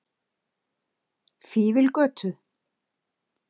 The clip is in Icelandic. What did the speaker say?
Fífilgötu